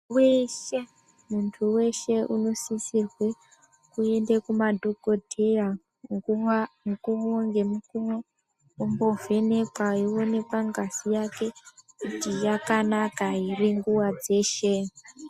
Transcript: Weshe, muntu weshe, unosisirwe kuende kumadhokodheya mukuwo ngemukuwo ombovhenekwa eionekwe ngazi yake kuti yakanaka ere nguwa dzeshe.